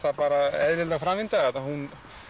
eðileg framvinda að hún